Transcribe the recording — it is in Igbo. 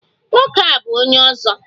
Nwoke a bu onye ozo.